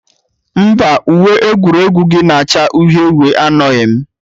Mba, uwe egwuregwu gị na-acha uhie uhie anọghị m.